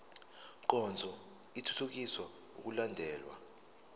nkonzo ithuthukisa ukulandelwa